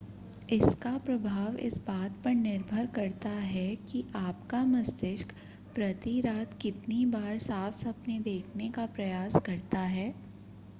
इसका प्रभाव इस बात पर निर्भर करता है कि आपका मस्तिष्क प्रति रात कितनी बार साफ़ सपने देखने का प्रयास करता है